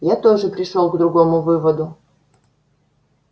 я тоже пришёл к другому выводу